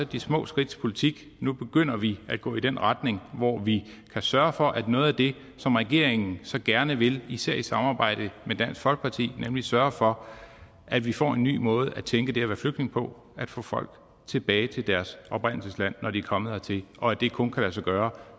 de små skridts politik nu begynder vi at gå i den retning hvor vi kan sørge for noget af det som regeringen så gerne vil især i samarbejde med dansk folkeparti nemlig sørge for at vi får en ny måde at tænke det at være flygtning på få folk tilbage til deres oprindelsesland når de er kommet hertil og det kan kun lade sig gøre